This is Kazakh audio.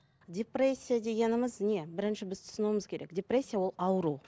депрессия дегеніміз не бірінші біз түсінуіміз керек депрессия ол ауру